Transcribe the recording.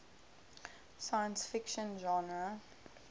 science fiction genre